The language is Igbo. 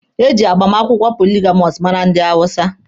Eji agbamakwụkwọ poligamọsụ mara ndị hawụsa.